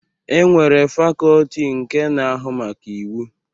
E nwere fakọọti nke na-ahụ maka Iwu.